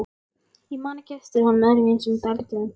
Ég man ekki eftir honum öðruvísi en dælduðum.